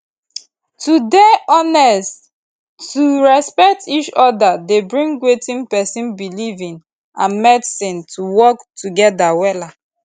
to dey honest to respect each oda dey bring wetin pesin belief in and medicine to work together wellla